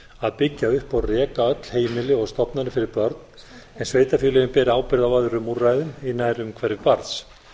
að byggja upp og reka öll heimili og stofnanir fyrir börn en sveitarfélögin bera ábyrgð á öðrum úrræðum í nærumhverfi barns